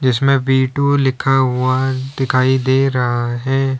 इसमें V two लिखा हुआ दिखाई दे रहा है।